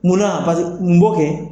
Mun na pase mun b'o kɛ?